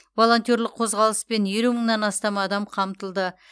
волонтерлік қозғалыспен елу мыңнан астам адам қамтылды